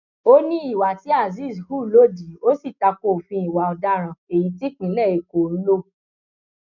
ó ní ìwà tí azeez hù lòdì ó sì ta ko òfin ìwà ọdaràn èyí típínlẹ èkó ń lọ